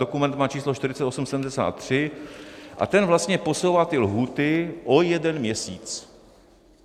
Dokument má číslo 4837 a ten vlastně posouvá ty lhůty o jeden měsíc.